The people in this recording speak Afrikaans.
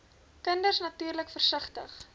kinders natuurlik versigtig